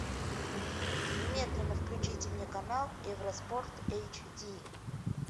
немедленно включите мне канал евроспорт эйч ди